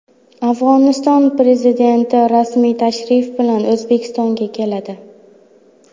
Afg‘oniston prezidenti rasmiy tashrif bilan O‘zbekistonga keladi.